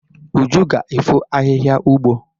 Uju ga-efọ ahihia ugbo.